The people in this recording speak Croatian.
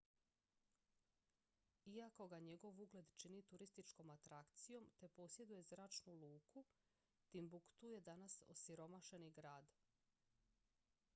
iako ga njegov ugled čini turističkom atrakcijom te posjeduje zračnu luku timbuktu je danas osiromašeni grad